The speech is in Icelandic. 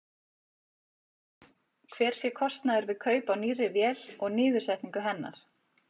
Hver sé kostnaður við kaup á nýrri vél og niðursetningu hennar?